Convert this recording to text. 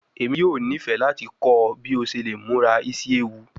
Emi yoo nifẹ lati kọ ọ bi o ṣe le mura isi ewu